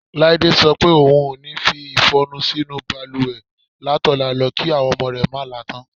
Láídé so̩ pé ohun o ní fi ìfo̩nu sí inú balùwè látò̩la lo̩ kí àwo̩n o̩mo̩ rè̩ má la tán.